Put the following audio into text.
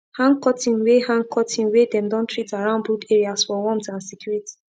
hang curtain wey hang curtain wey dem don treat around brood areas for warmth and security